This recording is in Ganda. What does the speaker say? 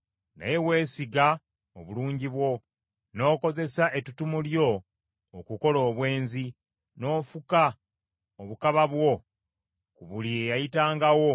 “ ‘Naye weesiga obulungi bwo, n’okozesa ettutumu lyo okukola obwenzi, n’ofuka obukaba bwo ku buli eyayitangawo